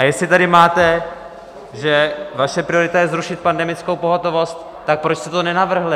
A jestli tady máte, že vaše priorita je zrušit pandemickou pohotovost - tak proč jste to nenavrhli?